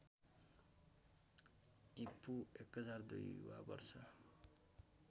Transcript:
ईपू १००२ वा वर्ष